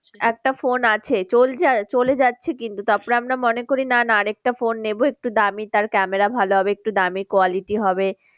একটা phone আছে চলছে, চলে যাচ্ছে কিন্তু তারপরে আমরা মনে করি না না আর একটা phone নেবো একটু দামি তার camera ভালো হবে একটু quality হবে।